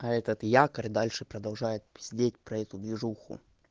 а этот якорь дальше продолжает пиздеть про эту движуху